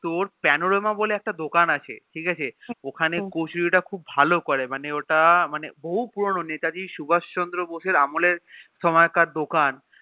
তোর পেনোরামা বলে একটা দোকান আছে ঠিকাছে ওখানে কচুরি তা খুব ভালো করে মানে ওটা বহু পূর্ণ নেতাজি সুভাষ চন্দ্র বসে এর আমল এর সময় কার দোকান